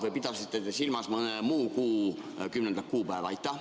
Või pidasite te silmas mõne muu kuu 10. kuupäeva?